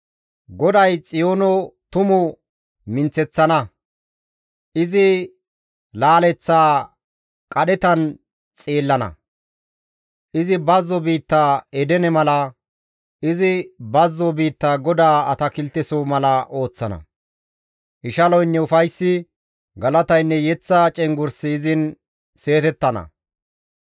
«GODAY Xiyoono tumu minththeththana; izi laaleteththaa qadhetan xeellana; izi bazzo biittaza Edene mala, izi bazzo biittaza GODAA atakiltesoho mala ooththana; ishaloynne ufayssi, galataynne yeththa cenggurssi izin seetettana.